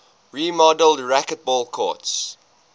remodeled racquetball courts